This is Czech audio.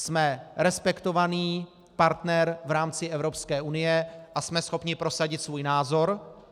Jsme respektovaný partner v rámci Evropské unie a jsme schopni prosadit svůj názor.